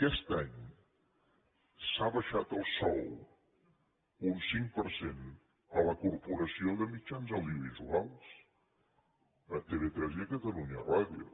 aquest any s’ha abaixat el sou un cinc per cent a la corporació de mitjans audiovisuals a tv3 i a catalunya ràdio